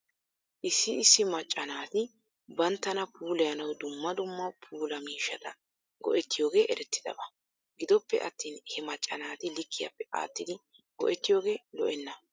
Issi issi macca naati banttana puulayanaw dumma dumma puula miishata go'etiyooge eretidaba. Gidoppe attin he macca naati likkiyaape aattidi go'ettiyooge lo'enna.